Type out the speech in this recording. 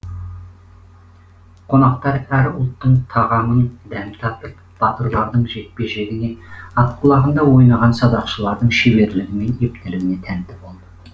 қонақтар әр ұлттың тағамын дәм татып батырлардың жекпе жегіне ат құлағында ойнаған садақшылардың шеберлігі мен ептілігіне тәнті болды